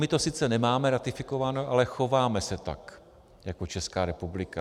My to sice nemáme ratifikováno, ale chováme se tak jako Česká republika.